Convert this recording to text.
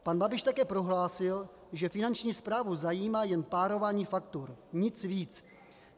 Pan Babiš také prohlásil, že Finanční správu zajímá jen párování faktur, nic víc.